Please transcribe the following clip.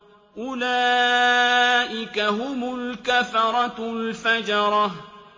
أُولَٰئِكَ هُمُ الْكَفَرَةُ الْفَجَرَةُ